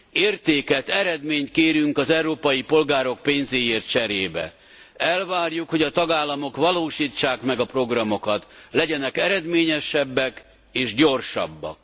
Értéket, eredményt kérünk az európai polgárok pénzéért cserébe, elvárjuk, hogy a tagállamok valósítsák meg a programokat, legyenek eredményesebbek és gyorsabbak.